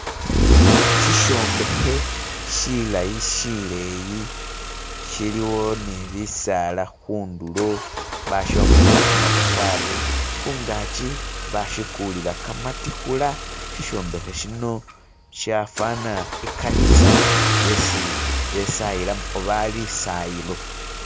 shishombehe shilayi shileyi shiliwo nibisaala hundulo bashombehela kamatafari hungachi bashikulila kamatihula shishombehe shino shafana ikanisa yesi besayilamu oba lisayilo